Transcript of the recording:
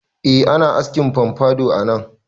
Eh ana askin famfaɗo a nan